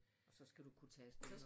Og så skal du kunne tage afsted